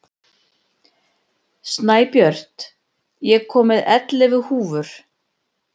Snæbjört, ég kom með ellefu húfur!